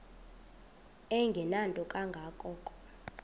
engenanto kanga ko